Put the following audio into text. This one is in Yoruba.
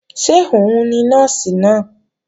Ṣé òun ni Nọ́ọ̀sì náà?